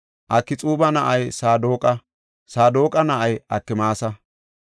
Akxuuba na7ay Saadoqa; Saadoqa na7ay Akmaasa.